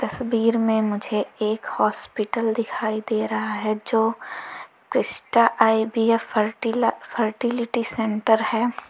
तस्वीर में मुझे एक हॉस्पिटल दिखाई दे रहा है जो Crysta I V F ferti fertility centre है।